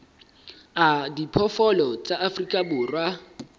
a diphoofolo tsa afrika borwa